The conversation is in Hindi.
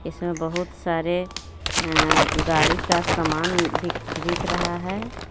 इसमें बहुत सारे अ-गाड़ी का समान बिक-बिक रहा है.